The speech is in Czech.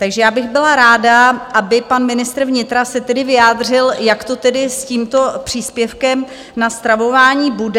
Takže já bych byla ráda, aby pan ministr vnitra se tedy vyjádřil, jak to tedy s tímto příspěvkem na stravování bude.